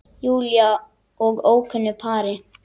Júlíu og ókunnu pari.